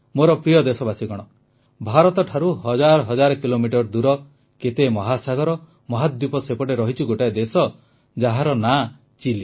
ମୋର ପ୍ରିୟ ଦେଶବାସୀଗଣ ଭାରତଠାରୁ ହଜାର ହଜାର କିଲୋମିଟର ଦୂର କେତେ ମହାସାଗର ମହାଦ୍ୱୀପ ସେପଟେ ରହିଛି ଗୋଟିଏ ଦେଶ ଯାହାର ନାଁ ଚିଲି